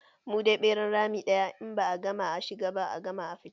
Mu dai ɓeran rami ɗaya, in ba a gama a shiga ba, a gama a fita.